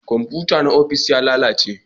Komfuta na ofis ya lalace